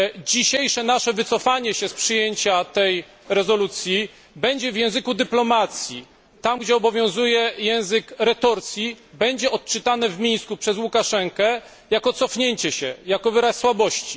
Dzisiejsze nasze wycofanie się z przyjęcia tej rezolucji będzie w języku dyplomacji tam, gdzie obowiązuje język retorsji będzie odczytane w Mińsku przez Łukaszenkę jako cofnięcie się, jako wyraz słabości.